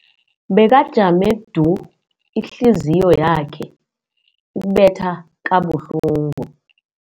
Bekajame du, ihliziyo yakhe ibetha kabuhlungu.